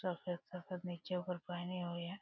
सफ़ेद-सफ़ेद नीचे ऊपर पहनी हुई है।